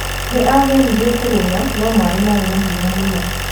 Nĩ aageririe kũrũga, no maĩ maarĩ na hinya mũno.